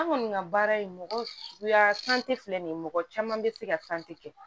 An kɔni ka baara ye mɔgɔ suguya filɛ nin ye mɔgɔ caman be se ka kɛ